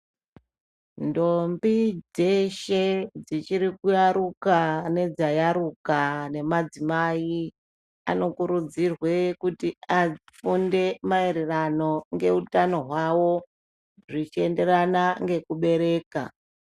Ndombi dzeshe dzichiri kuyaruka nedzayaruka nemadzimai anokurudzirwe afunde nemaererano ngehutano hwavo zvichienderana nekubereka.